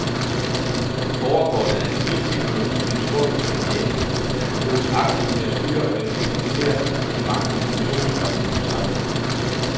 Borgerkortet er en snild teknologi med et stort potentiale, der kan bruges aktivt til at styre og effektivisere de mange informationsstrømme i vort samfund.